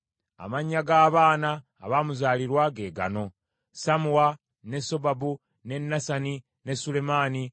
Amannya g’abaana abaamuzaalirwa ge gaano: Sammuwa, ne Sobabu, ne Nasani, ne Sulemaani,